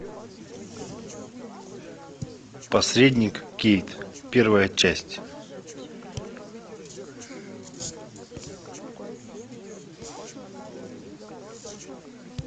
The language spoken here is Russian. посредник кейт первая часть